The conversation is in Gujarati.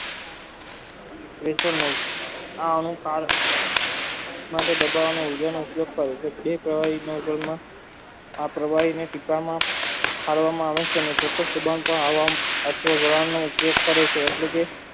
આ અનુકાળમાં જે બધા નો જે ઉપયોગ કરે છે બે પ્રવાહીનો જન્મ આ પ્રવહીને સીકવામાં કરવામાં આવે છે અને ઉપયોગ કરે છે એટલે કે